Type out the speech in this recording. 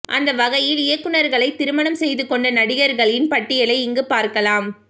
அந்த வகையில் இயக்குநார்களை திருமணம் செய்து கொண்ட நடிகர்களின் பட்டியலை இங்கு பார்க்கலாம்